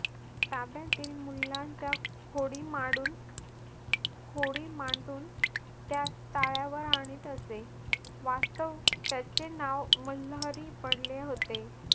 ताब्यातील मुलांच्या होडी माडून होडी मांडून त्यास ताळ्यावर आणीत असे. वास्तव त्याचे नाव मल्हारी पडले होते.